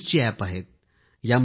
गेम्सचे app आहे